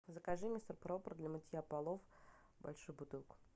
закажи мистер пропер для мытья полов большую бутылку